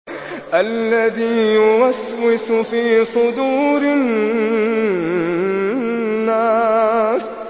الَّذِي يُوَسْوِسُ فِي صُدُورِ النَّاسِ